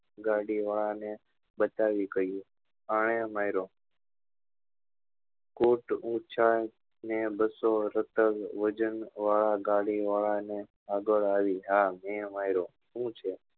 ગાડી વાળા ને બતાવી કહ્યું આને માર્યો કોટ ઊંચા ને બસ્સો ટન વજન વાળા ગાડી વાળા ને આગળ આવી હા મેં માર્યો હું છે